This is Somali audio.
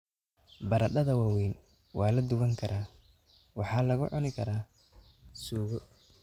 Baradhada waaweyn waa la duban karaa waxaana lagu cuni karaa suugo.